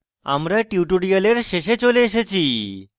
আমরা tutorial শেষে চলে এসেছি